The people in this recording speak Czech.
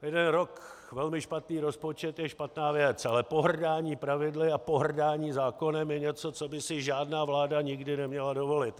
Jeden rok velmi špatný rozpočet je špatná věc, ale pohrdání pravidly a pohrdání zákonem je něco, co by si žádná vláda nikdy neměla dovolit.